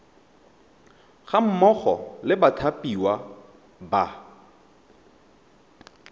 ga mmogo le bathapiwa ba